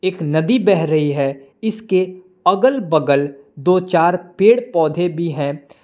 एक नदी बह रही है इसके अगल बगल दो चार पेड़ पौधे भी हैं।